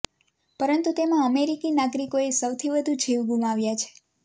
પરંતુ તેમાં અમેરિકી નાગરિકોએ સૌથી વધુ જીવ ગુમાવ્યા છે